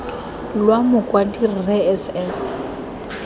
lwa mokwadi rre s s